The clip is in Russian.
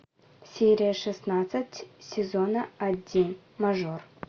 серия шестнадцать сезона один мажор